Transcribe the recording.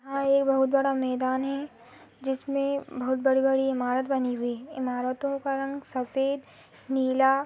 और बहुत बड़ा मैदान है जिसमे बहुत बड़ी बड़ी इमारत बनी हुई है ईमारतो का रंग सफ़ेद नीला--